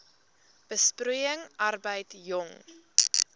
besproeiing arbeid jong